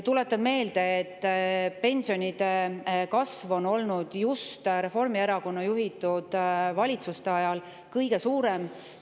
Tuletan meelde, et pensionide kasv on olnud just Reformierakonna juhitud valitsuste ajal kõige suurem.